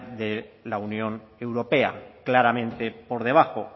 de la unión europea claramente por debajo